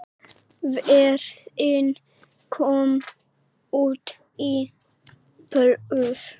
Ferðin kom út í plús.